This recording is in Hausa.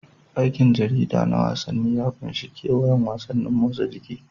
Aikin jarida na wasanni ya ƙunshi kewayon wasannin motsa jiki.